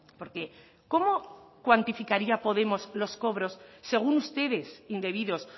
porque cómo cuantificaría podemos los cobros según ustedes indebidos